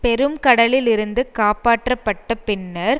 பெரும்கடலிலிருந்து காப்பாற்றப்பட்டபின்னர்